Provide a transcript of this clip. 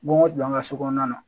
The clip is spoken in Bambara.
Bon o don an ka so kɔnɔna na